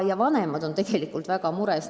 Ja vanemad on tegelikult väga mures.